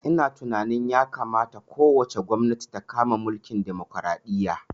Ina tunani ya kamata ko wace gwamnati ta kama mulkin demokaraɗiya